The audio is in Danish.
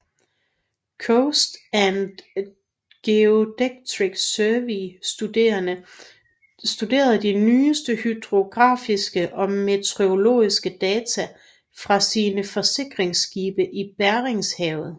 Coast and Geodetic Survey studerede de nyeste hydrografiske og meteorologiske data fra sine forskningsskibe i Beringshavet